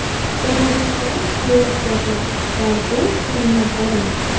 Jamoadoshlarim qo‘llab-quvvatladi va bu uchun minnatdorman.